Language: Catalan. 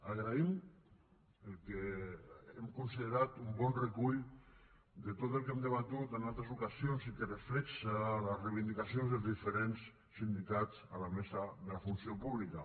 agraïm el que hem considerat un bon recull de tot el que hem debatut en altres ocasions i que reflecteix les reivindicacions dels diferents sindicats a la mesa de la funció pública